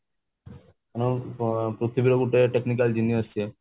ଆଉ ପୃଥିବୀର ଗୋଟେ technically geneous ସେ